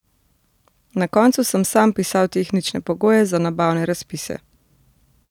Na koncu sem sam pisal tehnične pogoje za nabavne razpise.